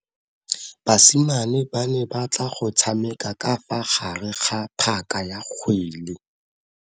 Basimane ba ne batla go tshameka ka fa gare ga phaka ya kgwele.